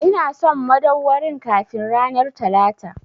Ina son madauwarin kafin ranar Talata!